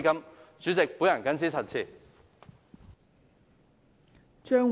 代理主席，我謹此陳辭。